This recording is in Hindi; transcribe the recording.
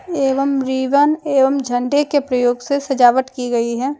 एवं रिबन एवं झंडे के प्रयोग से सजावट की गई है।